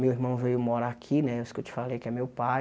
Meu irmão veio morar aqui né, os que eu te falei, que é meu pai.